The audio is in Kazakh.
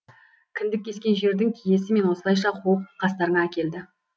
кіндік кескен жердің киесі мені осылайша қуып қастарыңа әкелді